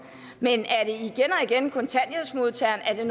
men og igen være kontanthjælpsmodtagerne